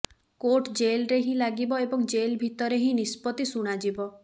court ଜେଲରେ ହିଁ ଲାଗିବ ଏବଂ ଜେଲ ଭିତରେ ହିଁ ନିଷ୍ପତି ଶୁଣାଯିବ